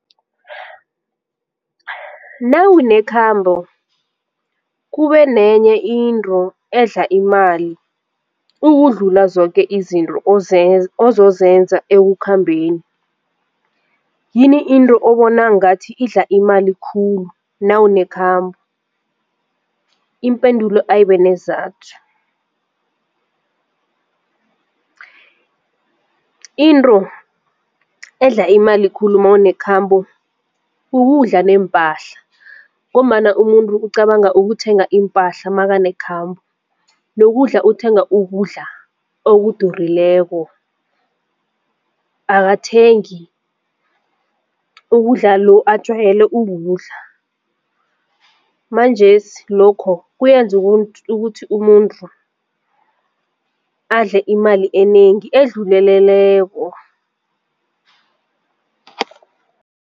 Nawunekhambo kube nenye into edla imali ukudlula zoke izinto ozozenza ekukhambeni yini into obona ngathi idla imali khulu nawunekhambo? Impendulo ayibe neenzathu. Into edla imali khulu mawunekhambo ukudla neempahla ngombana umuntu ucabanga ukuthenga iimpahla makanekhambo nokudla uthenga ukudla okudurileko akathengi ukudla lo ajwayele ukudla manjesi lokho kuyenza ukuthi umuntu adle imali enengi edluleleleko.